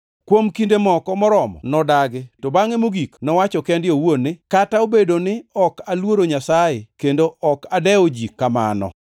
“Kuom kinde moko moromo nodagi, to bangʼe mogik nowacho kende owuon ni, ‘Kata obedo ni ok aluoro Nyasaye kendo ok adewo ji kamano